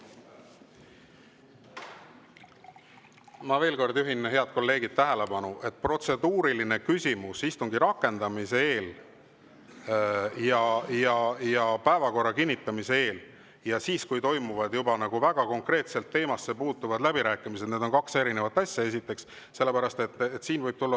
Ma veel kord juhin, head kolleegid, tähelepanu, et protseduuriline küsimus istungi rakendamise ajal ehk päevakorra kinnitamise eel ja siis, kui toimuvad juba väga konkreetsed teemasse puutuvad läbirääkimised, on kaks erinevat asja, esiteks.